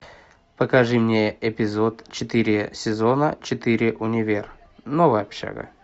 покажи мне эпизод четыре сезона четыре универ новая общага